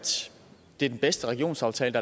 det er den bedste regionsaftale